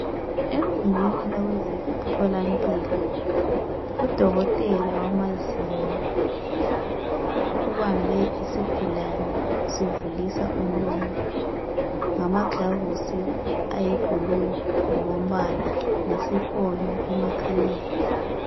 Egumbini labe zemtholampilo uDokotela wamazinyo ubambe isigulane sivulisa umlomo ngamaglavisi ayi blue ngoko mbala lesi fonyo emakhaleni.